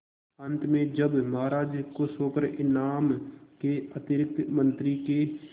अंत में जब महाराज खुश होकर इनाम के अतिरिक्त मंत्री के